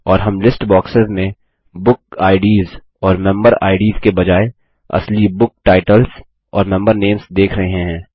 और हम list boxes में बुक आईडीएस और मेंबर आईडीएस के बजाय असली बुक टाइटल्स और मेंबर नेम्स देख रहे हैं